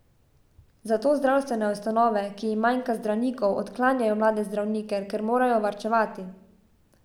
Zato zdravstvene ustanove, ki jim manjka zdravnikov, odklanjajo mlade zdravnike, ker morajo varčevati.